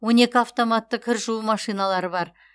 он екі автоматты кір жуу машиналары бар